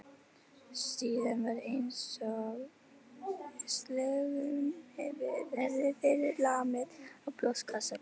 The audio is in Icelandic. Síðan var einsog sleggju hefði verið lamið í brjóstkassann.